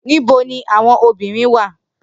Nibo ni awọn obirin wa?